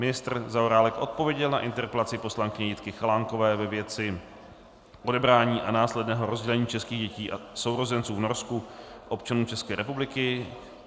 Ministr Zaorálek odpověděl na interpelaci poslankyni Jitky Chalánkové ve věci odebrání a následného rozdělení českých dětí a sourozenců v Norsku občanům České republiky.